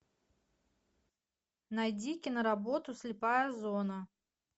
найди киноработу слепая зона